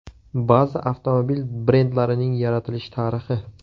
Ba’zi avtomobil brendlarining yaratilish tarixi.